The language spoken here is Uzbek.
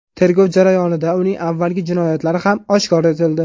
Tergov jarayonida uning avvalgi jinoyatlari ham oshkor etildi.